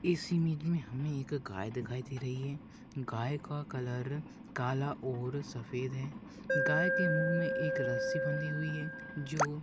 इस इमेज में हमें एक गाय दिखाई दे रही है गाय का कलर काला और सफ़ेद है गाय के महु में एक रस्सी बंधी हुई है जो --